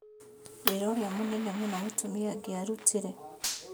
wĩra ũrĩa Mũnene mũno mũtumia angĩarutire.